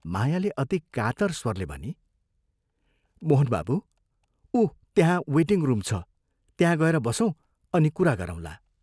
मायाले अति कातर स्वरले भनी, " मोहन बाबू, उ त्यहाँ ' वेटिङ् रूम ' छ त्यहाँ गएर बसौँ अनि कुरा गरौंला।